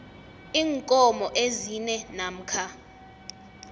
iinkomo ezine namkha